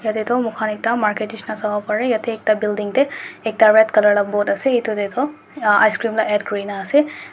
yati toh moikan ekta market neshina sabo bari yati ekta building teh ekta red colour laga board ase eto tehtoh uhh icecream laga add kurina ase.